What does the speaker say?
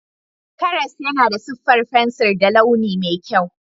Karas yana da siffar fensir da launi mai kyau.